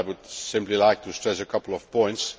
I would simply like to stress a couple of points.